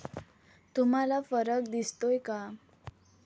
तुम्हाला फरक दिसतोय का?